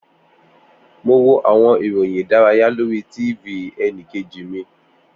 Mo wo awọn iroyin idaraya lori TV ẹnikeji mi.